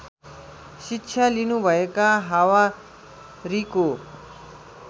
शिक्षा लिनुभएका हवारीको